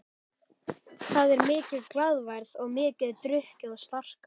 Það er mikil glaðværð og mikið drukkið og slarkað.